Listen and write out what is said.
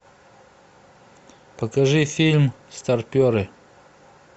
покажи фильм старперы